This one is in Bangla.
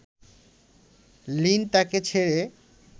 লিন তাকে ছেড়ে